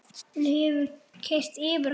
Hún hefur keyrt yfir hann!